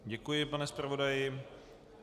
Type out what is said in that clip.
Děkuji, pane zpravodaji.